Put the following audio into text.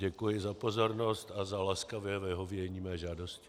Děkuji za pozornost a za laskavé vyhovění mé žádosti.